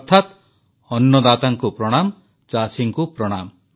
ଅର୍ଥାତ୍ ଅନ୍ନଦାତାଙ୍କୁ ପ୍ରଣାମ ଚାଷୀଙ୍କୁ ପ୍ରଣାମ